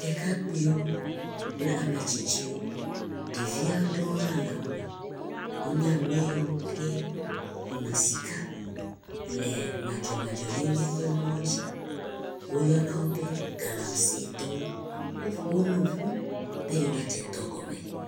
Ɖekakpuiwo kple ametsistiwo ɖevia ɖewo hã le wome, wonye ame siwo kuna sika le madzemadzenyenye dzi, woyɔna wo be galamsey, woƒo wo nu ƒu be yewoadze dɔ gɔme.